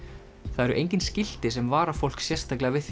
það eru engin skilti sem vara fólk sérstaklega við